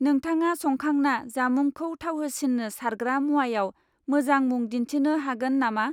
नोंथाङा संखांना जामुंखौ थावहोसिन्नो सारग्रा मुवायाव मोजां मुं दिन्थिनो हागोन नामा?